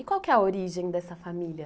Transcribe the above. E qual que é a origem dessa família?